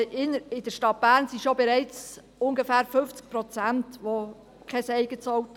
In der Stadt Bern haben bereits ungefähr 50 Prozent kein eigenes Auto.